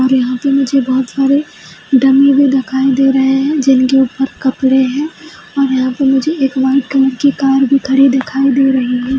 और यहाँ पर मुझे बहुत सारे डमी भी दिखाई दे रहे हैं जिनके ऊपर कपड़े हैं और यहाँ पर मुझे एक वाइट कलर की कार भी खड़ी दिखाई दे रही है |